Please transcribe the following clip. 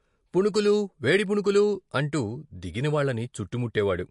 "పుణుకులు! వేడి పుణుకులు " అంటూ దిగినవాళ్ళని చుట్టుముట్టేవాడు.